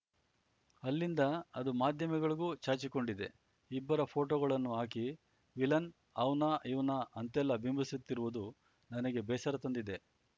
ಅಲ್ಲಿಂದ ಅದು ಮಾಧ್ಯಮಗಳಿಗೂ ಚಾಚಿಕೊಂಡಿದೆ ಇಬ್ಬರ ಫೋಟೋಗಳನ್ನು ಹಾಕಿ ವಿಲನ್‌ ಅವ್ನಾ ಇವ್ನಾ ಅಂತೆಲ್ಲ ಬಿಂಬಿಸುತ್ತಿರುವುದು ನನಗೆ ಬೇಸರ ತಂದಿದೆ